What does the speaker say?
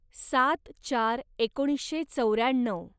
सात चार एकोणीसशे चौऱ्याण्णव